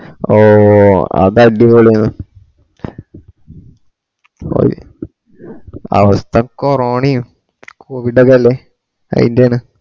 ഓ അത് അടിപൊളി ആണ് അവസ്ഥ കൊറോണയും കോവിട് ഒക്കെ അല്ലെ അയ്ൻ്റെയാണ്